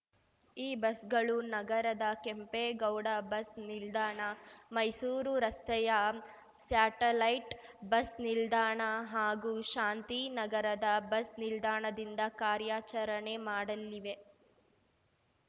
ಈ ಬಸ್‌ಗಳು ನಗರದ ಕೆಂಪೇಗೌಡ ಬಸ್‌ ನಿಲ್ದಾಣ ಮೈಸೂರು ರಸ್ತೆಯ ಸ್ಯಾಟಲೈಟ್‌ ಬಸ್‌ ನಿಲ್ದಾಣ ಹಾಗೂ ಶಾಂತಿನಗರದ ಬಸ್‌ ನಿಲ್ದಾಣದಿಂದ ಕಾರ್ಯಾಚರಣೆ ಮಾಡಲಿವೆ